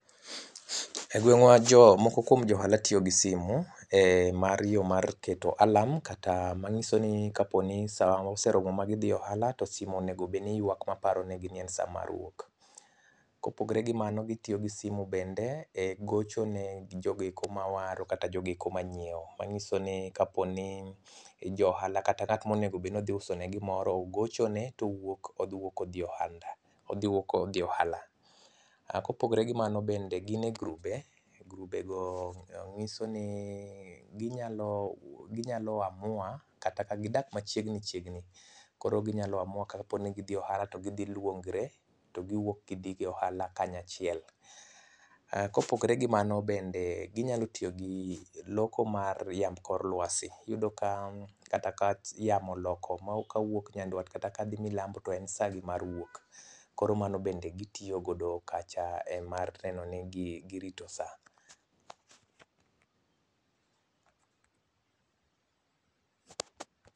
Egweng'wa jomoko kuom jo ohala tiyo gi simu em mar yo mar keto alarm kata manyisoni kaponi sa oseromo magidhi e ohala to simu onego bed ni ywak maparo negi ni en sa mar wuok. Kopogore gi mano, gitiyo gi simu bende e gocho ne jogo eko mawaro kata jogo eko manyiewo manyiso ni kaponi johala kata ng'at monego bed ni odhi usone gimoro ogochone to owuok odhi idhi wuok odhi e ohala. Kopogore gi mano bende, gin e grube, grubego nyiso ni ginyalo ginyalo amua kata ka gidak machiegni chiegni, koro ginyalo amua kata ka gidhi e ohala to gidhi giluongre to giwuok gidhi e ohala kanyachiel. Kopogore gi mano bende ginyalo tiyo gi loko mar riemb kor luasi. Iyudo kata ka yamo oloko kawuok Nyanduat kata kadhi Milambo to en sagi mar wuok. Koro mano bende gitiyo godo kacha en mar neno ni gi girito sa.